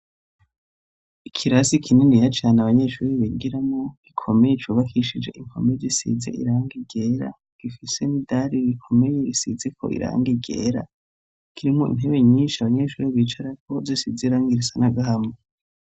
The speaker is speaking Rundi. Ikirasi kininiya cane abanyeshuri bigiramwo gikomeye, cubakishije impome zisize irangi ryera gifise n'idari rikomeye risizi ko irangi ryera kirimo intebe nyinshi abanyeshuri bicarako zisize irangi risa n'agahama.